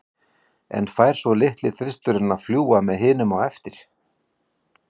En fær svo litli þristurinn að fljúga með hinum á eftir?